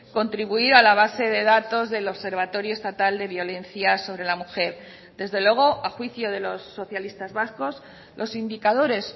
contribuir a la base de datos del observatorio estatal de violencia sobre la mujer desde luego a juicio de los socialistas vascos los indicadores